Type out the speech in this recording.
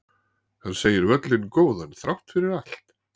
Hann segir völlinn góðan þrátt allt